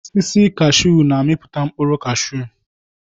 Osisi kashuu na-amiputa mkpụrụ cashuu.